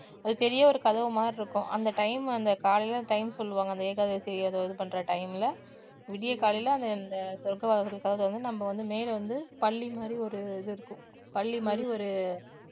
அது பெரிய ஒரு கதவு மாதிரி இருக்கும் அந்த time அந்த காலையில time சொல்லுவாங்க அந்த ஏகாதசி அதை இது பண்ற time ல விடியற்காலையில அந்த அந்த சொர்கவாசல்கதவு திறந்து அந்த நம்ம வந்து மேல வந்து பல்லி மாதிரி ஒரு இது இருக்கும் பல்லி மாதிரி ஒரு